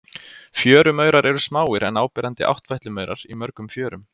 Fjörumaurar eru smáir en áberandi áttfætlumaurar í mörgum fjörum.